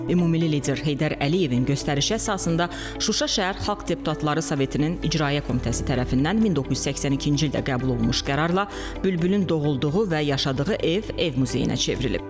Ümummilli lider Heydər Əliyevin göstərişə əsasında Şuşa şəhər Xalq Deputatları Sovetinin icraiyyə komitəsi tərəfindən 1982-ci ildə qəbul olunmuş qərarla Bülbülün doğulduğu və yaşadığı ev ev muzeyinə çevrilib.